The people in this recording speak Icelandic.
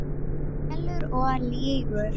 Stelur og lýgur!